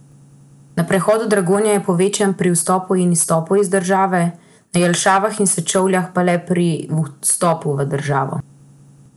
Na prehodu Dragonja je povečan pri vstopu in izstopu iz države, na Jelšanah in Sečovljah pa le pri vstopu v državo.